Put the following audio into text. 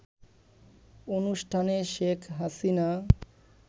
অনুষ্ঠানে শেখ হাসিনা